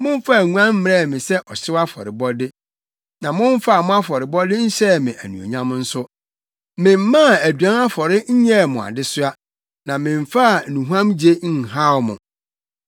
Momfaa nguan mmrɛɛ me sɛ ɔhyew afɔrebɔde, na momfaa mo afɔrebɔ nhyɛɛ me anuonyam nso. Memmaa aduan afɔre nyɛɛ mo adesoa na memfaa nnuhuamgye nhaw mo.